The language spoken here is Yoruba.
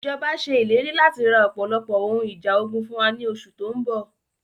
Ìjọba ṣe ìlérí láti ra ọpọlọpọ ohun ìjà ogun fún wa ní oṣù tóun bọ̀